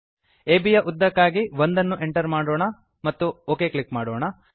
ಅಬ್ ಯ ಉದ್ದಕ್ಕಾಗಿ 1 ಅನ್ನು ಎಂಟರ್ ಮಾಡೋಣ ಮತ್ತು ಒಕ್ ಕ್ಲಿಕ್ ಮಾಡೋಣ